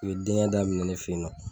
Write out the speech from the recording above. U ye denkɛ daminɛ ne fɛ yen nɔ